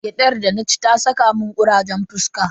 Gyadar da na ci ya saka mun kurajen fuska.